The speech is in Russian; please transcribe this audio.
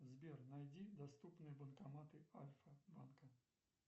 сбер найди доступные банкоматы альфа банка